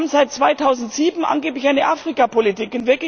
Wir haben seit 2007 angeblich eine Afrikapolitik.